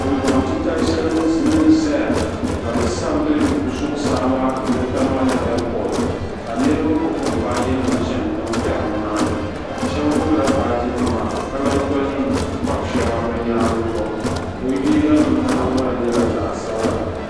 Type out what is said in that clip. Dundoŋ titali shɛli n zaya ka bi sabi di zuɣu saa maa ni tamali ɛɛpod. ka niribi gbubi bɛ baaginima chani tiŋ kperi ni maa ni shɛbi gbubila baaginima ka lan kpabi shɛŋa bi yaangi zuɣu bɛ liiganim nahingban nye zaɣsabila.